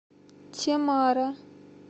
темара